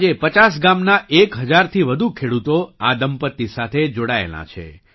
આજે 5૦ ગામના 1૦૦૦થી વધુ ખેડૂતો આ દંપતી સાથે જોડાયેલાં છે